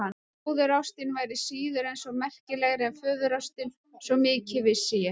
Móðurástin væri síður en svo merkilegri en föðurástin, svo mikið vissi ég.